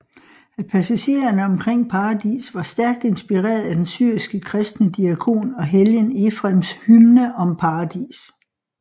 At passagerne omkring paradis var stærkt inspireret af den syriske kristne diakon og helgen Ephrems hymne om paradis